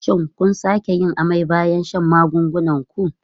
Shin kun sake yin amai bayan shan maganin ku?